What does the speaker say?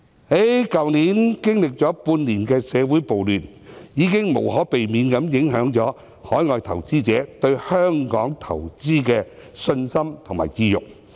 去年經歷了半年的社會暴亂，已經無可避免影響了海外投資者對香港投資的信心及意欲。